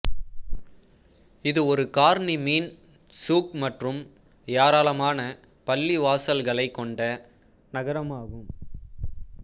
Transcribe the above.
இது ஒரு கார்னிச் மீன் சூக் மற்றும் ஏராளமான பள்ளிவாசல்களைக் கொண்ட நகரமாகும்